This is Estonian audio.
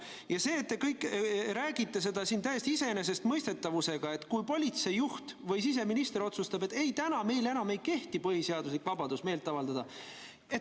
Ja te räägite siin täieliku iseenesestmõistetavusega, et kui politseijuht või siseminister otsustab, et ei, täna meil enam ei kehti põhiseaduslik vabadus meelt avaldada.